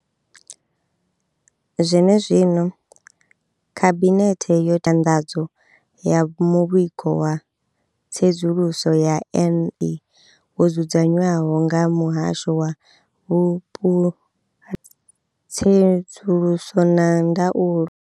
Zwene zwino, Khabinethe yo ita nyanḓadzo ya Muvhigo wa Tsedzuluso ya NB wo dzudzanywaho nga Muhasho wa Vhupulani, Tsedzuluso na Ndaulo.